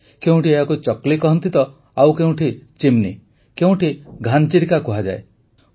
କେଉଁଠି ଏହାକୁ ଚକ୍ଲି କହନ୍ତି ତ ଆଉ କେଉଁଠି ଚିମ୍ନି କେଉଁଠି ଘାନ ଚିରିକା କୁହାଯାଏ